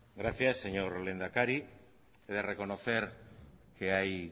gracias señor lehendakari he de reconocer que hay